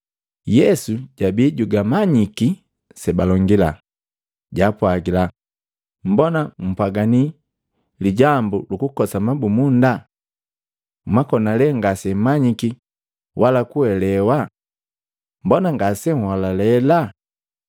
Yesu jabi jugamanyiki sebalongila, jaapwagila, “Mbona npwaganii lijambu lukukosa mabumunda? Mwakona lee ngasemmanyiki wala kuelewa? Mbona ngasenholalela?